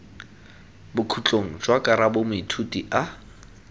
bokhutlong jwa karabo moithuti a